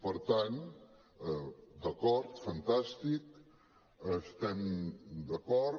per tant d’acord fantàstic hi estem d’acord